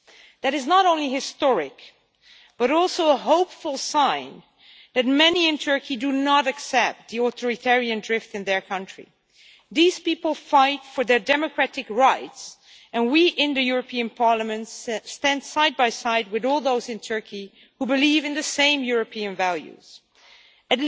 That is not only historic, it is also a hopeful sign that many in Turkey do not accept the authoritarian drift in their country. These people are fighting for their democratic rights, and we in the European Parliament stand side by side with all those in Turkey who believe in the same European values as us.